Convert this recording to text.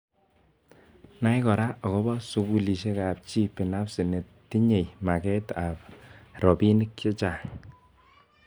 Nai kora akobo sukulishek ab ji binafsi netinyei maket ab robinik chechang.